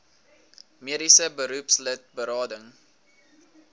mediese beroepslid berading